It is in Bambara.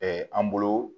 an bolo